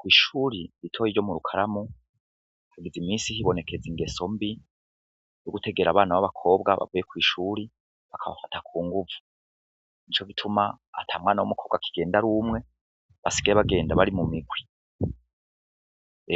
Kw'ishuri ritoye iryo mu rukaramu hagize imisi hibonekeza ingeso mbi yo gutegera abana b'abakobwa bavuye kw'ishuri bakabafata ku nguvu ni co gituma atamwana w'umukobwa akigenda ari umwe basigaye bagenda bari mu migwi